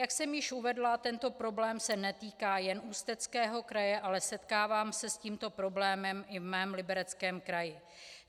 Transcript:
Jak jsem již uvedla, tento problém se netýká jen Ústeckého kraje, ale setkávám se s tímto problémem i ve svém Libereckém kraji.